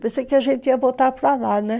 Pensei que a gente ia voltar para lá, né?